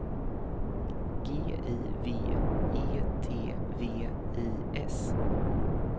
G I V E T V I S